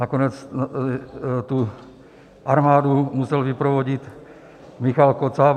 Nakonec tu armádu musel vyprovodit Michael Kocáb.